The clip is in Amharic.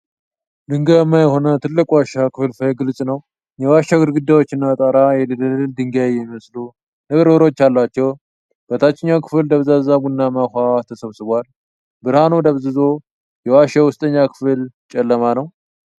ድንጋያማ የሆነ ትልቅ ዋሻ ክፍልፋይ ግልጽ ነው። የዋሻው ግድግዳዎችና ጣራ የደለል ድንጋይ የሚመስሉ ንብርብሮች አላቸው። በታችኛው ክፍል ደብዛዛ ቡናማ ውኃ ተሰብስቧል፤ ብርሃኑ ደብዝዞ የዋሻው ውስጠኛ ክፍል ጨለማ ነው።